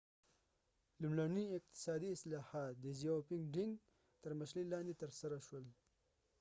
لومړڼي اقتصادي اصلاحات د deng xiaoping تر مشرۍ لاندې ترسره شول